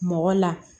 Mɔgɔ la